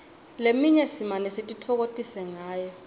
leminye simane sititfokotise ngayo